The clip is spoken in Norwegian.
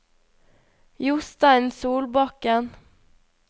Jostein Solbakken